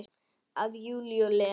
Af Júlíu og Lenu.